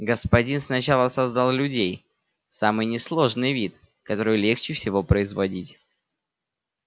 господин сначала создал людей самый несложный вид который легче всего производить